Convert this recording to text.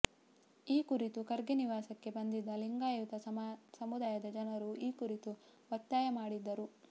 ಈ ಕುರಿತು ಖರ್ಗೆ ನಿವಾಸಕ್ಕೆ ಬಂದಿದ್ದ ಲಿಂಗಾಯತ ಸಮುದಾಯದ ಜನರು ಈ ಕುರಿತು ಒತ್ತಾಯ ಮಾಡಿದ್ದರು